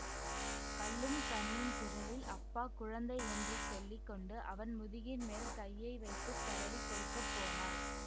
கல்லும் கனியும் குரலில் அப்பா குழந்தை என்று சொல்லி கொண்டு அவன் முதுகின் மேல் கையை வைத்து தடவிக் கொடுக்க போனாள்